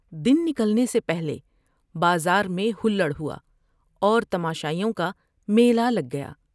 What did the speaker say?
دن نکلنے سے پہلے بازار میں ہلڑ ہوا اور تماشائیوں کا میلہ لگ گیا ۔